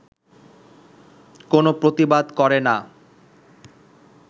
কোনো প্রতিবাদ করে না